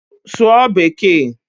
Sụọ bekee!